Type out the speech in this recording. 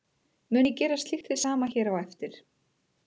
Mun ég gera slíkt hið sama hér á eftir.